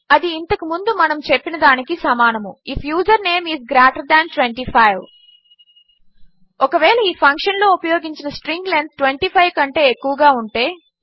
అది ఇంతకు ముందు మనము చెప్పినదానికి సమానము if username is greater than 25 ఒకవేళ ఈ ఫంక్షన్లో ఉపయోగించిన స్ట్రింగ్ లెంత్ 25 కంటే ఎక్కువగా ఉంటే